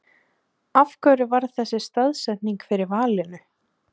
Helga María: Af hverju varð þessi staðsetning fyrir valinu?